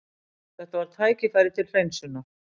Þetta var tækifæri til hreinsunar.